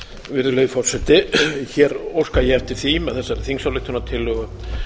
virðulegi forseti hér óska ég eftir því með þessari þingsályktunartillögu